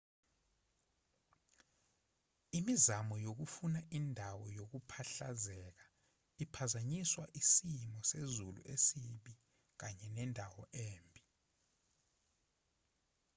imizamo yokufuna indawo yokuphahlazeka iphazanyiswa isimo sezulu esibi kanye nendawo embi